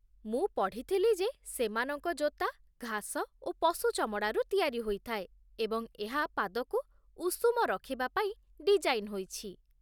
ମୁଁ ପଢ଼ିଥିଲି ଯେ ସେମାନଙ୍କ ଜୋତା ଘାସ ଓ ପଶୁ ଚମଡ଼ାରୁ ତିଆରି ହୋଇଥାଏ ଏବଂ ଏହା ପାଦକୁ ଉଷୁମ ରଖିବା ପାଇଁ ଡିଜାଇନ୍ ହୋଇଛି